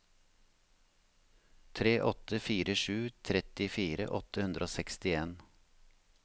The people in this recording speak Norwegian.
tre åtte fire sju trettifire åtte hundre og sekstien